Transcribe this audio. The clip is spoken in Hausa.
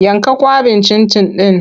Yanka kwaɓin cin-cin ɗin!